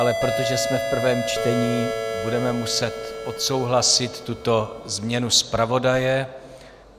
Ale protože jsme v prvém čtení, budeme muset odsouhlasit tuto změnu zpravodaje.